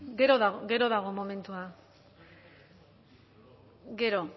gero dago momentua gero